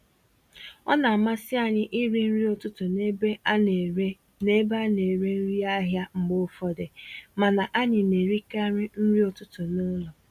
Ọ namasị anyị irí nri ụtụtụ n'ebe a nere n'ebe a nere nri ahịa mgbe ụfọdụ, mana anyị na-erikarị nri ụtụtụ n'ụlọ.